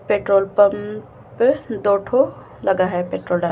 petrol pump दो ठो लगा है पेट्रोल डाल--